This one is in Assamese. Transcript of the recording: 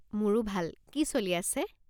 মোৰো ভাল। কি চলি আছে?